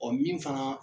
Ɔ min fana